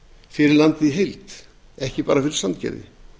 fyrir landið í heild ekki bara fyrir sandgerði